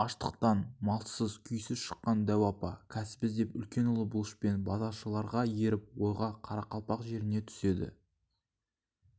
аштықтан малсыз күйсіз шыққан дәу апа кәсіп іздеп үлкен ұлы бұлышпен базаршыларға еріп ойға қарақалпақ жеріне түседі